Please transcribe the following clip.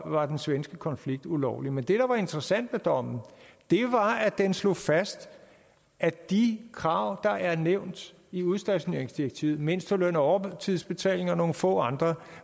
var den svenske konflikt ulovlig men det der var interessant ved dommen var at den slog fast at de krav der er nævnt i udstationeringsdirektivet mindsteløn overtidsbetaling og nogle få andre